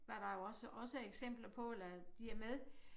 Var der jo også også eksempler på eller de er med